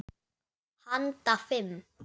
Handa fimm